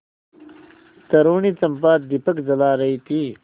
तरूणी चंपा दीपक जला रही थी